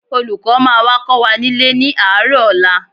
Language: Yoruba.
Olùkọ́ máa wá kọ́ wa nílé ní àárọ̀ ọ̀la